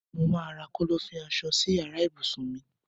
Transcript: Mo má ra Kọ́lọ́fín aṣọ si yàrá ibùsùn mi